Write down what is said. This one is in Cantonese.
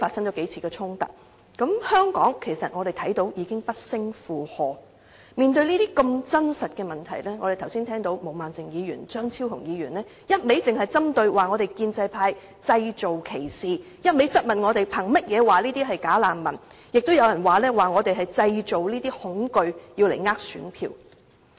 我們看到香港已經不勝負荷，面對如此真實的問題，我們剛才聽到毛孟靜議員和張超雄議員只一味針對建制派，指我們製造歧視，又質問我們憑甚麼說這些人是"假難民"，亦有人指我們是在製造恐懼，是想騙選票。